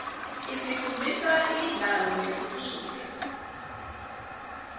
isifundzisa imidlalo lehlukile